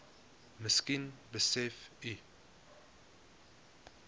miskien besef u